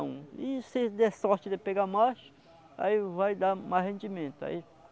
E se você der sorte de pegar mais, aí vai dar mais rendimento aí